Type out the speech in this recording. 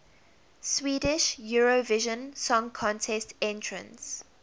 swedish eurovision song contest entrants